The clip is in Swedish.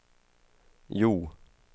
Hjo